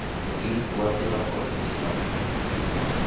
modirisi wa tsela gore tsela